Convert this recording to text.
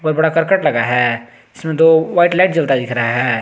ऊपर बड़ा करकट लगा है जिसमें दो व्हाइट लाइट जलता दिख रहा है।